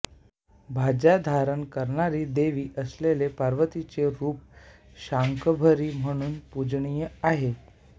भाज्या धारण करणारी देवी असलेले पार्वतीचे रूप शाकंभरी म्हणून पूजनीय आहे